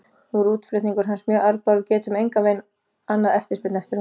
Nú er útflutningur hans mjög arðbær og við getum engan veginn annað eftirspurn eftir honum.